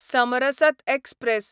Samarasata express